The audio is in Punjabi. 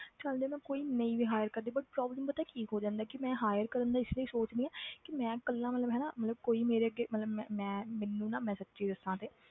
ਚੱਲ ਜੇ ਮੈਂ ਕੋਈ ਨਹੀਂ ਵੀ hire ਕਰਦੀ but problem ਪਤਾ ਕੀ ਹੋ ਜਾਂਦਾ ਕਿ ਮੈਂ hire ਕਰਨ ਦਾ ਇਸ ਲਈ ਸੋਚਦੀ ਹਾਂ ਕਿ ਮੈਂ ਇਕੱਲਾ ਮਤਲਬ ਹਨਾ ਮਤਲਬ ਕੋਈ ਮੇਰੇ ਅੱਗੇ ਮਤਲਬ ਮੈਂ ਮੈਂ ਮੈਨੂੰ ਨਾ ਮੈਂ ਸੱਚੀ ਦੱਸਾਂ ਤੇ